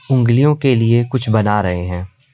उंगलियों के लिए कुछ बना रहे हैं।